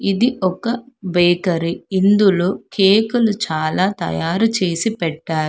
ఇది ఒక బేకరీ ఇందులో కేకులు చాలా తయారు చేసి పెట్టారు.